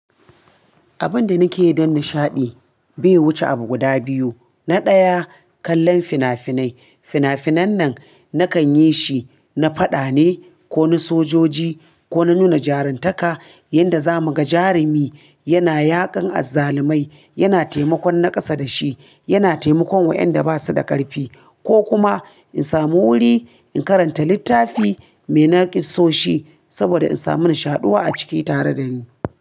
Abin da nake yi don nishaɗi bai wuce abu guda biyu. Na daya, kallon fina-finai. Fina-finan nan nakan yi shi na faɗa ne ko na sojoji ko na nuna jaruntaka yanda za muga jarumi yana yaƙan azzalumai, yana taimakon nakasa dashi, yana taimakon wa'yanda basu da ƙarfi ko kuma in samu wuri in karanta littafi mai naƙisoshi saboda in samu nishaɗi a ciki tare dani.